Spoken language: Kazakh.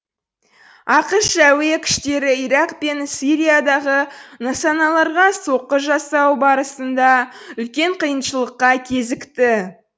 ақш әуе күштері ирак пен сириядағы нысаналарға соққы жасау барысында үлкен қиыншылыққа кезікті